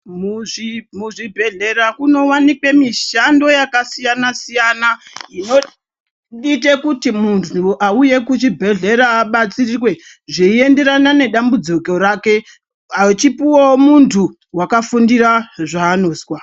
Muzvi muzvibhedhlera kunowanikwa mishando yakasiyana-siyana, inoite kuti muntu auye kuchibhedhlera abatsirwe, zveienderana nedambudziko rake, achipuwa muntu akafundira zvaanozwa.